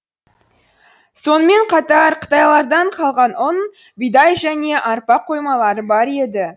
сонымен қатар қытайлардан қалған ұн бидай және арпа қоймалары бар еді